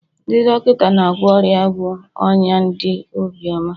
ndị dọkịta na-agwọ ọrịa bụ ọnya dị obiọma